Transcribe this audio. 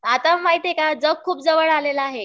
आता माहित आहे जग खूप जवळ आलेलं आहे